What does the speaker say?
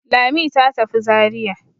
Lami ta tafi Zariya.